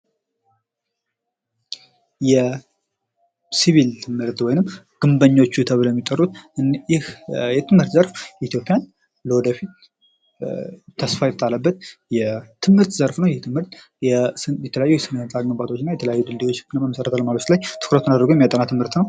የሲቪል ትምህርት ወይም ደግሞ ግንበኞቹ ተብለው የሚጠሩት ይህ የትምህርት ዘርፍ ለወደፊት ተስፋዬ ተጣለበት የትምህርት ዘርፍ ነው የትምህርት የተለያዩ የስነ ህንፃ ግንባታዎችና ላይ ትኩረትን አድርጎ የሚያጠና ትምህርት ነው።